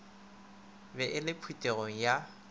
be e le phuthego ya